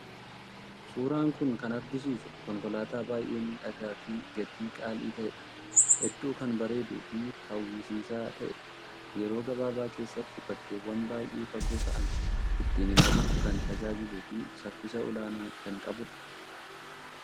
Suuraan kun kan agarsiisu konkolaataa baay'ee miidhagaa fi gatii qaalii ta'edha. Hedduu kan bareeduu fi hawwisiisaa ta'edha. Yeroo gabaabaa keessatti bakkeewwan baay'ee fagoo ta'an ittiin imaluuf kan tajaajiluu fi saffisa olaanaa kan qabudha.